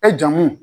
E jamu